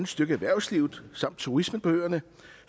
støtte erhvervslivet samt turismen på øerne